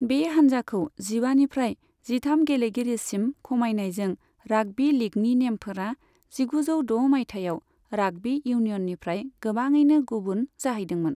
बे हान्जाखौ जिबानिफ्राय जिथाम गेलेगिरिसिम खमायनायजों राग्बि लिगनि नेमफोरा जिगुजौ द' मायथाइयाव राग्बी इउनियननिफ्राय गोबाङैनो गुबुन जाहैदोंमोन।